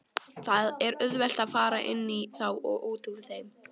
Það er auðvelt að fara inní þá og útúr þeim.